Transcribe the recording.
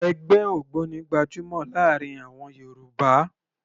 Ẹgbẹ́ ògbóni gbajúmọ̀ láàrin àwọn Yorùbá